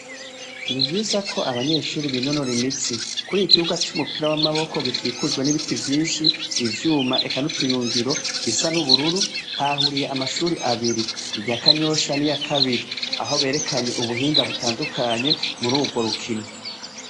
Ni vyiza ko abanyeshure binonorera imitsi kuri iki kibuga c' umupira w' amaboko gikikujwe n' ibiti vyinshi ivyuma eka n' utuyungiro bisa n' ubururu hahahuriye amashure abiri irya kanyosha ni iyakabiri aho berekanye ubuhinga butandukanye muri ugwo rukino.